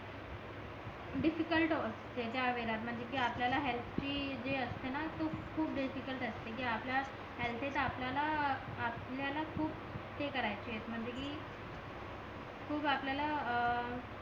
difficult असते त्या वेळेलत म्हणजे कि आपल्याला हेअल्थची जे असते ना खूप डिफिकल्ट असते कि आपल्या हेलतेत आपल्याला खूप हे करायचे म्हणजे कि खूप आपल्याला अं